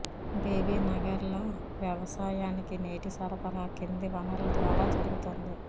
బీబీనగర్లో వ్యవసాయానికి నీటి సరఫరా కింది వనరుల ద్వారా జరుగుతోంది